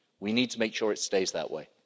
We need to make sure it stays that way.